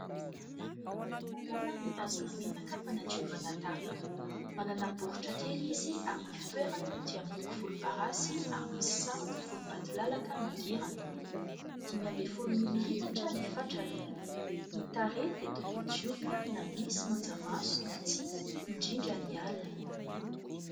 Tanana mitazona menaka fanadiovana tarehy, manana baoritra kely izy ary ny fitoerany dia miloko volomparasy ary misy sarony volombatolalaka mangirana, dimy ambin'ny folo mililitatra ny fatrany. Ny tarehy dia tokony diovina na misy manjamaso na tsia, indrindra ny alina.